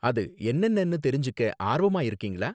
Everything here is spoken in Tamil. அது என்னென்னனு தெரிஞ்சுக்க ஆர்வமா இருக்கீங்களா?